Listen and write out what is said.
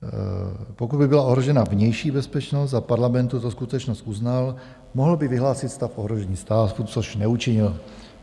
Pokud by byla ohrožena vnější bezpečnost a Parlament tuto skutečnost uznal, mohl by vyhlásit stav ohrožení státu - což neučinil.